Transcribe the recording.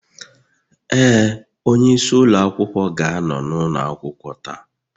Ee, onyeisi ụlọ akwụkwọ ga-anọ n'ụlọ akwụkwọ taa